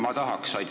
Aitäh!